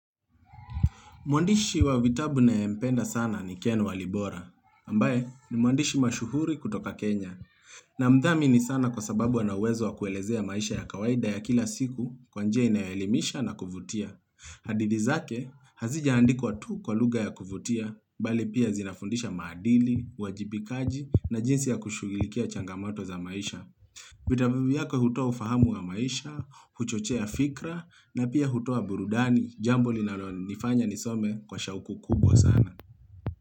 Mwandishi wa vitabu ninaempenda sana ni keno walibora, ambaye ni mwandishi mashuhuri kutoka Kenya, namdhamini sana kwasababu anauwezo wa kuelezea maisha ya kawaida ya kila siku kwanjia inayoelimisha na kuvutia. Hadithi zake, hazija andikwa tu kwa lugha ya kuvutia, bali pia zinafundisha maadili, uwajibikaji na jinsi ya kushuhulikia changamato za maisha. Vitabu vyake hutoa ufahamu wa maisha, huchochea fikra na pia hutoa burudani jambo linalo nifanya nisome kwa shauku kubwa sana.